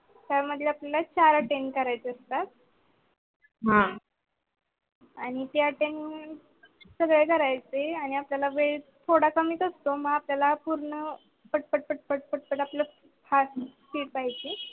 काय आपल्याला चार attend करायचे असतात. हा आणि ते attend सगळे करायचे आणि आपल्याला वेळ थोडा कमीच असतो मग आपल्याला पूर्ण पट पट पट पट पट पट आपल